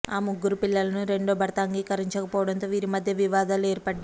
ఆ ముగ్గురు పిల్లలను రెండో భర్త అంగీకరించకపోవడంతో వీరి మధ్య వివాదాలు ఏర్పడ్డాయి